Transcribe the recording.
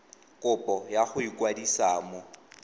kopo ya go ikwadisa mo